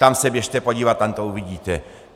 Tam se běžte podívat, tam to uvidíte.